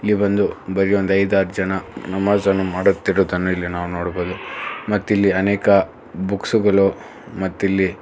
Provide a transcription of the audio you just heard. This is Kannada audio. ಬಂದು ಬರೀ ಒಂದ್ ಐದಾರ್ ಜನ ನಮಾಜ್ ಅನ್ನು ಮಾಡುತ್ತಿರುವುದನ್ನು ಇಲ್ಲಿ ನಾವು ನೋಡಬಹುದು ಮತ್ತಿಲ್ಲಿ ಅನೇಕ ಬುಕ್ಸ್ ಗಳು ಮತ್ತಿಲ್ಲಿ--